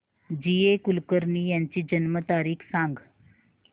जी A Kulkarni यांची जन्म तारीख सांग